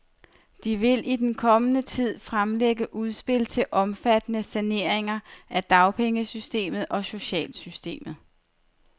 De vil i den kommende tid fremlægge udspil til omfattende saneringer af dagpengesystemet og socialsystemet.